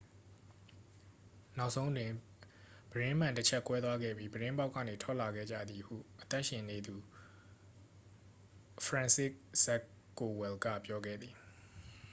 နောက်ဆုံးတွင် ပြတင်းမှန်တစ်ချပ် ကွဲသွားခဲ့ပြီး ပြတင်းပေါက်ကနေ ထွက်လာခဲ့ကြသည် ဟု အသက်ရှင်သန်သူ ဖရန်စစ်ဇခ် ကိုဝယ်လ်က ပြောခဲ့သည်